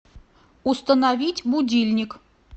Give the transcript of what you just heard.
установить будильник